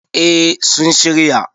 eh sun shirya